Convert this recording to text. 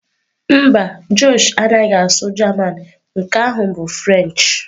Mba, Josh anaghị asụ German, nke ahụ bụ French.